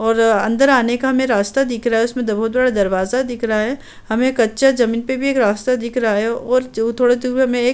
और अंदर आने का हमें राश्ता दिख रहा है। उसमें बहोत बड़ा दरवाज़ा दिख रहा है। हमें कच्चा जमीन पे भी एक राश्ता दिख रहा है और थोड़ा दूर हमें एक --